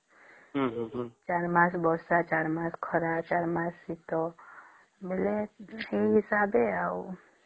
ଚାରି ମାସ ବର୍ଷା ଚାରି ମାସ ଖରା ଆଉ ଚାରି ମାସ ଶୀତ ବୋଲେ ସେଇ ହିସାବେ ଆଉ